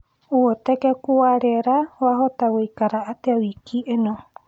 ũhotekekũ wa rĩera wahota guikara atĩa wiki ino